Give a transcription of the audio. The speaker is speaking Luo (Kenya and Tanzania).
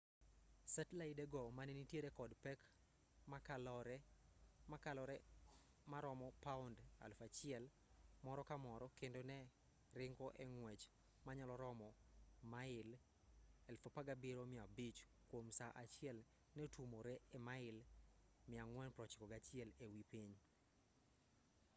setlaide go mane nintiere kod pek mokalore maromo paund 1,000 moro ka moro kendo ne ringo e ng'wech manyalo romo mail 17,500 kwom saa achiel ne otuomore e mail 491 e wi piny